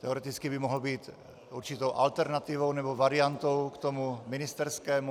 Teoreticky by mohl být určitou alternativou nebo variantou k tomu ministerskému.